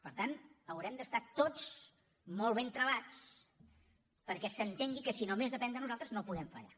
per tant haurem d’estar tots molt ben travats perquè s’entengui que si només depèn de nosaltres no podem fallar